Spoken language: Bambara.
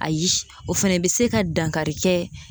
Ayi o fɛnɛ bɛ se ka dankari kɛ